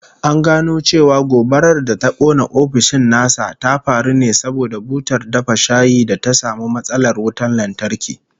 An gano cewa gobarar da ta kona ofishin nasa ta faru ne saboda butar dafa shayi ta samu matsalar wutan lantarki